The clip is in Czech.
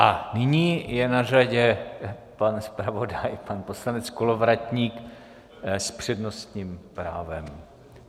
A nyní je na řadě pan zpravodaj, pan poslanec Kolovratník s přednostním právem.